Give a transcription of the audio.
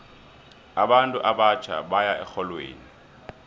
abantu abatjha baya erholweni